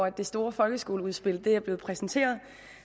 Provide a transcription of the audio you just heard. at det store folkeskoleudspil er blevet præsenteret